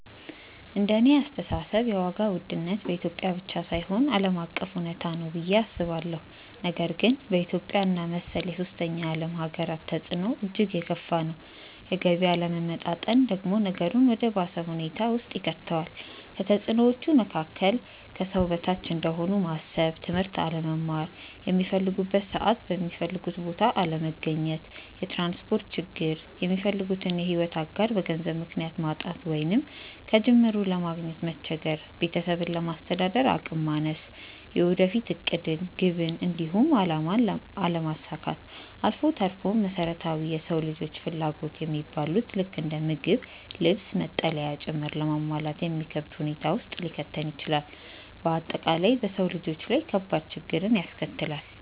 እንደኔ አስተሳሰብ የዋጋ ውድነት በኢትዮጵያ ብቻ ሳይሆን ዓለም አቀፍ እውነታ ነው ብዬ አስባለሁ፤ ነገር ግን በኢትዮጵያ እና መሰል የሶስተኛ ዓለም ሃገራት ተፅዕኖው እጅግ የከፋ ነው። የገቢ አለመመጣጠን ደግሞ ነገሩን ወደ ባሰ ሁኔታ ውስጥ ይከተዋል። ከተፅዕኖዎቹ መካከል፦ ከሰው በታች እንደሆኑ ማሰብ፣ ትምህርት አለመማር፣ ሚፈልጉበት ሰዓት የሚፈልጉበት ቦታ አለመገኘት፣ የትራንስፖርት ችግር፣ የሚፈልጉትን የሕይወት አጋር በገንዘብ ምክንያት ማጣት ወይንም ከጅምሩ ለማግኘት መቸገር፣ ቤተሰብን ለማስተዳደር አቅም ማነስ፣ የወደፊት ዕቅድን፣ ግብን፣ እንዲሁም አላማን አለማሳካት አልፎ ተርፎም መሰረታዊ የሰው ልጆች ፍላጎት የሚባሉትን ልክ እንደ ምግብ፣ ልብስ፣ መጠለያ ጭምር ለማሟላት የሚከብድ ሁኔታ ውስጥ ሊከተን ይችላል። በአጠቃላይ በሰው ልጆች ላይ ከባድ ችግርን ያስከትላል።